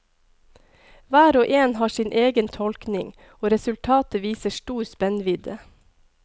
Hver og en har sin egen tolkning, og resultatet viser stor spennvidde.